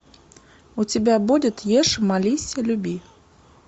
у тебя будет ешь молись люби